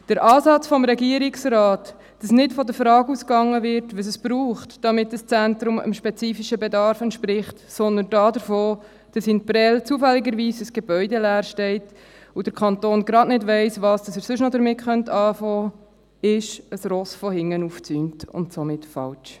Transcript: Der Ansatz des Regierungsrates, dass nicht von der Frage ausgegangen wird, was es braucht, damit das Zentrum dem spezifischen Bedarf entspricht, sondern davon, dass in Prêles zufälligerweise ein Gebäude leer steht und der Kanton gerade nicht weiss, was er sonst noch damit machen könnte, ist ein Pferd von hinten aufgezäumt und somit falsch.